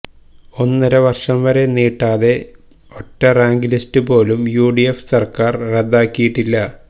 ഒന്നര വര്ഷം വരെ നീട്ടാതെ ഒറ്റ റാങ്ക ലിസ്റ്റുപോലും യുഡിഎഫ് സര്ക്കാര് റദ്ദാക്കിയിട്ടില്ല